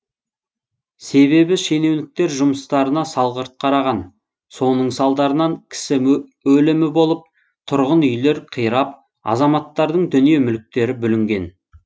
себебі шенеуніктер жұмыстарына салғырт қараған соның салдарынан кісі өлімі болып тұрғын үйлер қирап азаматтардың дүние мүліктері бүлінген